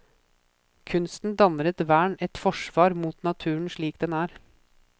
Kunsten danner et vern, et forsvar mot naturen slik den er.